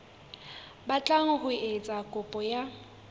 batlang ho etsa kopo ya